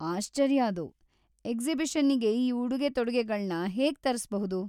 ಆಶ್ಚರ್ಯ ಅದು. ಎಕ್ಸಿಬಿಷನ್ನಿಗೆ ಈ ಉಡುಗೆ-ತೊಡುಗೆಗಳ್ನ ಹೇಗೆ ತರ್ಸ್ಬಹುದು?